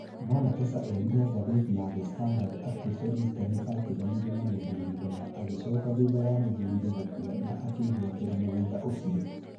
No Nekesa erire ngathĩti ya The Standard atĩ Felistas nĩ aatiganire na mũthuriwe na agĩcoka thutha wa mũthuriwe gũkua na akĩĩgwatĩra mũgũnda ũcio.